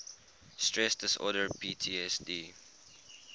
stress disorder ptsd